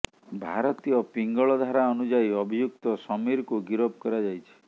ଭାରତୀୟ ପିଙ୍ଗଳ ଧାରା ଅନୁଯାୟୀ ଅଭିଯୁକ୍ତ ସମୀରକୁ ଗିରଫ କରାଯାଇଛି